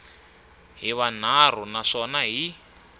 hi manharhu na swona hi